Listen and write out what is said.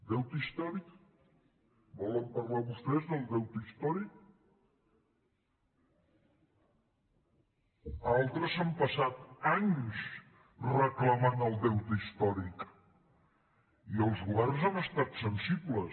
deute històric volen parlar vostès del deute històric altres s’han passat anys reclamant el deute històric i els governs han estat sensibles